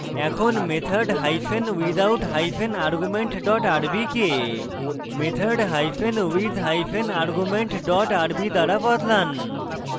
এখন method hyphen without hyphen argument dot rb কে method hyphen with hyphen argument dot rb দ্বারা বদলান